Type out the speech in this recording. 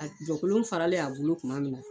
Jɔkolon faralen a bolo tuma min